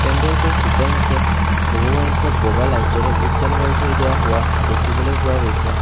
পেন্দেলটোৰ ভিতৰমুখে বহু সংখ্যক বগা লাইটেৰেও হোৱা দেখিবলৈ পোৱা গৈছে।